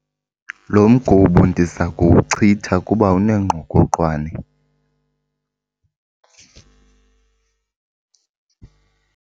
Lo mgubo ndiza kuwuchitha kuba unengqokoqwane.